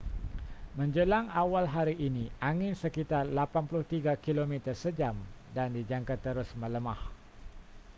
menjelang awal hari ini angin sekitar 83 km sejam dan dijangka terus melemah